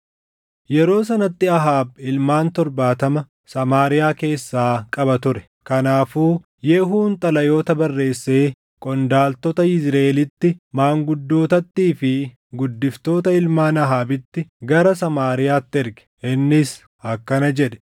Yeroo sanatti Ahaab ilmaan torbaatama Samaariyaa keessaa qaba ture. Kanaafuu Yehuun xalayoota barreessee qondaaltota Yizriʼeelitti, maanguddootattii fi guddiftoota ilmaan Ahaabitti gara Samaariyaatti erge. Inni akkana jedhe;